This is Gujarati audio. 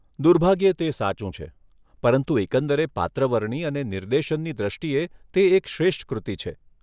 દુર્ભાગ્યે, તે સાચું છે, પરંતુ એકંદરે પાત્રવરણી અને નિર્દેશનની દ્રષ્ટિએ, તે એક શ્રેષ્ઠ કૃતિ છે.